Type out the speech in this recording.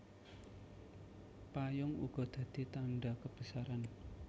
Payung uga dadi tandha kebesaran